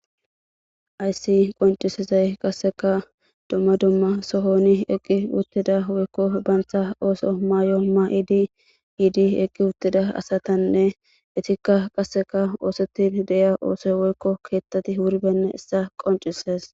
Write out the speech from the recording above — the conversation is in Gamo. Hayssi qoncisizay qasseka dumma dumma sohoni eqqi uttida woykko bantta ooso maayo ma'iidi yiidi eqqi wuttida asatanne itikka qasseka oosettin de'ya oosoy woykko keettati wurbenna issa qoncissees